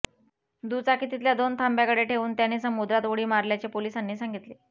दुचाकी तिथल्या दोन थांब्याकडे ठेवून त्याने समुद्रात उडी मारल्याचे पोलिसांनी सांगितले